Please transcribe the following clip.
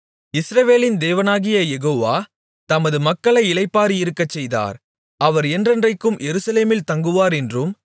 இஸ்ரவேலின் தேவனாகிய யெகோவா தமது மக்களை இளைப்பாறியிருக்கச்செய்தார் அவர் என்றென்றைக்கும் எருசலேமில் தங்குவார் என்றும்